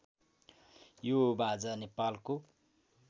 यो बाजा नेपालको